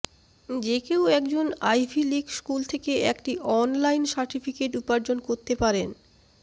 যে কেউ একজন আইভি লীগ স্কুল থেকে একটি অনলাইন সার্টিফিকেট উপার্জন করতে পারেন